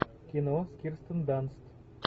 кино с кирстен данст